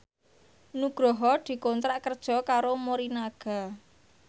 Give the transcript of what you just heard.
Nugroho dikontrak kerja karo Morinaga